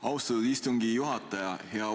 Austatud istungi juhataja!